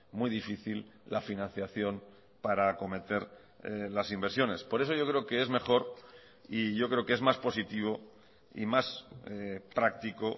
muy difícil la financiación para acometer las inversiones por eso yo creo que es mejor y yo creo que es más positivo y más práctico